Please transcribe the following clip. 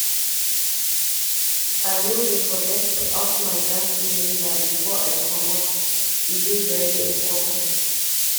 I no dey forget to off my gas cylinder before I comot, e dey very important.